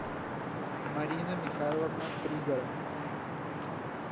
марина михайловна пригора